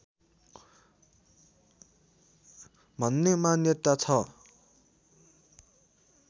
भन्ने मान्यता छ